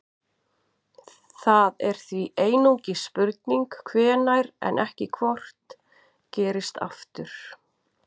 Það er því einungis spurning hvenær en ekki hvort gerist aftur.